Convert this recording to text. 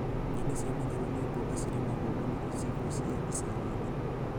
Nyeni cia matharũ nĩ mboga cirĩmagwo mũno icigo cia icagi-inĩ